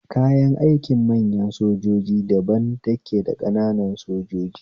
Kayan aikin manyan sojoji daban yake daba ƙananan sojoji